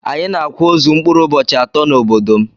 Anyi na akwa ozu mkpụrụ ụbohi atọ na obodom.